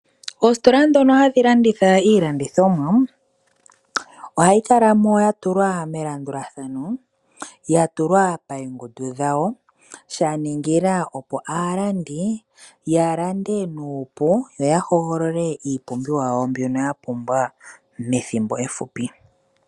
Oositola dhono hadhi landitha iilandithomwa, ohayi kala mo ya tulwa melandulathano ya tulwa payengundu dhawo, sha ningila opo aalandi ya lande nuupu yo ya hogolole iipumbiwa yawo mbyono ya pumbwa methimbo efupi.